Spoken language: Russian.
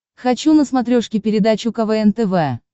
хочу на смотрешке передачу квн тв